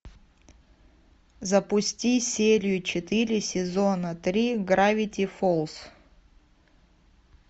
запусти серию четыре сезона три гравити фолз